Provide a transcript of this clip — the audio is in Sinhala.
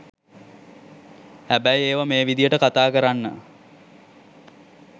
හැබැයි ඒවා මේ විදියට කතා කරන්න